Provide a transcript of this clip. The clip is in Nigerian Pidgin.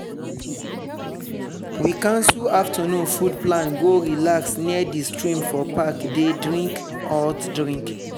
we cancel afternoon food plan go relax near di stream for park dey drink hot drink.